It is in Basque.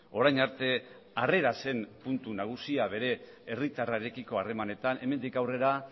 orain arte harrera zen puntu nagusia bere herritarrarekiko harremanetan hemendik aurrera